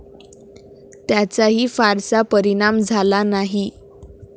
त्याचाही फारसा परिणाम झाला नाही.